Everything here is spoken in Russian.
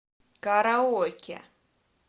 караоке